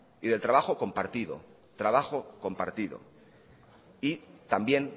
y del trabajo compartido trabajo compartido y también